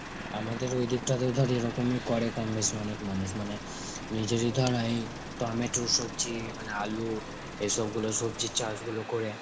আমাদের ঐদিকটাতে ধর এরকমই করে কম বেশি অনেক মানুষ মানে নিজেরই ধর ঐ টমেটো সবজি মানে আলু এসবগুলো সবজি চাষ গুলো করে.